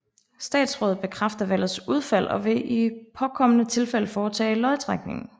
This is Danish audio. Statsrådet bekræfter valgets udfald og vil i påkommende tilfælde foretage lodtrækningen